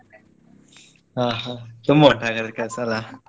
ಹಾ ಹಾ ತುಂಬಾ ಉಂಟು ಹಾಗಾದ್ರೆ ಕೆಲ್ಸ ಅಲ್ಲ.